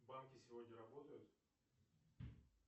банки сегодня работают